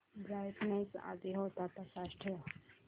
brightness आधी होता तसाच ठेव